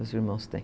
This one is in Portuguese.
Os meus irmãos têm.